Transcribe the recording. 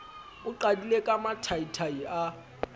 o qadile ka mathaithai a